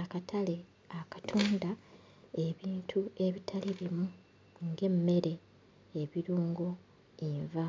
Akatale akatunda ebintu ebitali bimu, ng'emmere, ebirungo, enva.